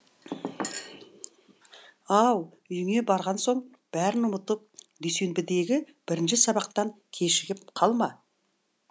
ау үйіңе барған соң бәрін ұмытып дүйсенбідегі бірінші сабақтан кешігіп қалма